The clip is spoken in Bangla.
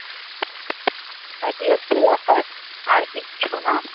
আর এই হচ্ছে ব্যাপার, আর কিচ্ছু না।